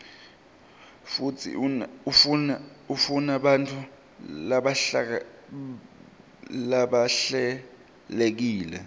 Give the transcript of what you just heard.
futsi ifunabantfu labahlelekile